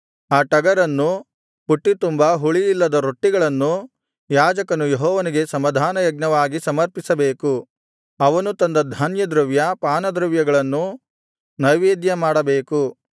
ಆ ಟಗರನ್ನೂ ಪುಟ್ಟಿ ತುಂಬಾ ಹುಳಿಯಿಲ್ಲದ ರೊಟ್ಟಿಗಳನ್ನೂ ಯಾಜಕನು ಯೆಹೋವನಿಗೆ ಸಮಾಧಾನಯಜ್ಞವಾಗಿ ಸಮರ್ಪಿಸಬೇಕು ಅವನು ತಂದ ಧಾನ್ಯದ್ರವ್ಯ ಪಾನದ್ರವ್ಯಗಳನ್ನೂ ನೈವೇದ್ಯಮಾಡಬೇಕು